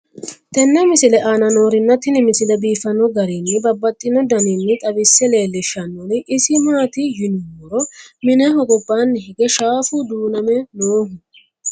tenne misile aana noorina tini misile biiffanno garinni babaxxinno daniinni xawisse leelishanori isi maati yinummoro mineho gobaanni hige shaaffu duuname noohu